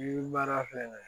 Yiri baara filɛ nin ye